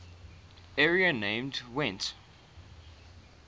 area named gwent